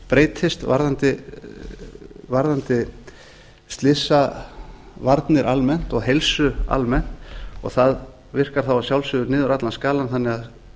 breytist varðandi slysavarnir almennt og heilsu almennt og það virkar þá að sjálfsögðu niður allan skalann þannig að